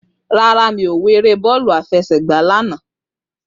Rárá, mi ò wo eré bọ́ọ̀lù àfẹsẹ̀gba lánàá